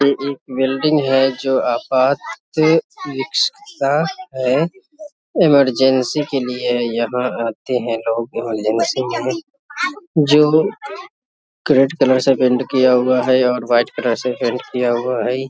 ये एक बिल्डिंग है जो आपात के है इमरजेंसी के लिए है यहाँ आते है लोग बहुत है जो रेड कलर से पेंट किया हुआ है और वाइट कलर से पेंट किया हुआ है ।